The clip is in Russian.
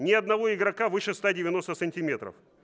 ни одного игрока выше сто девяносто сантиметров